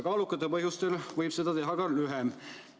Kaalukate põhjuste olemasolu korral võib etteteatamise aeg olla lühem.